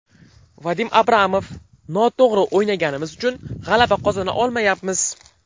Vadim Abramov: Noto‘g‘ri o‘ynaganimiz uchun g‘alaba qozona olmayapmiz.